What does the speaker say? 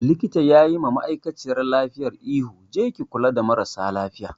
Likitan yayi ma ma'aikaciyar lafiyan ihu jiya 'Je ki kula da marasa lafiyar'!